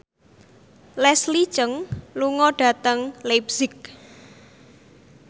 Leslie Cheung lunga dhateng leipzig